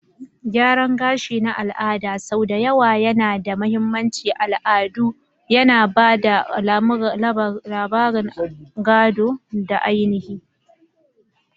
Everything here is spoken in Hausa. Gyaran gashi na al'ada sau da yawa yana da mahimmancin al'adu, yana ba da labarun gado da ainihi.